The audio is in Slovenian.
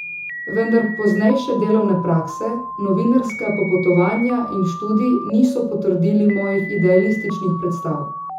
Vendar poznejše delovne prakse, novinarska popotovanja in študij niso potrdili mojih idealističnih predstav.